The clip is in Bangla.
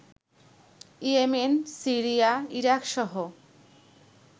Yemen, Syria, ইরাকসহ